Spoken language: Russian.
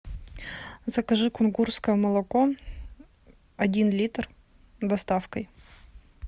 закажи кунгурское молоко один литр с доставкой